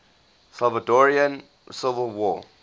salvadoran civil war